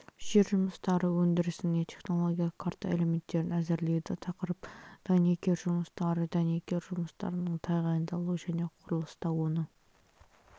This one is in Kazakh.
жер жұмыстары өндірісіне технологиялық карта элементтерін әзірлейді тақырып дәнекер жұмыстары дәнекер жұмыстарының тағайындалуы және құрылыста оны